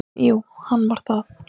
Jú, hann var það.